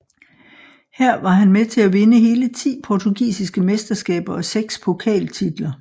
Her var han med til at vinde hele ti portugisiske mesteskaber og seks pokaltitler